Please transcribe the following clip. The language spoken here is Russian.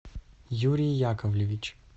юрий яковлевич